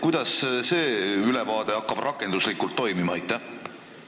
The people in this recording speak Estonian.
Kuidas see ülevaade rakenduslikult toimima hakkab?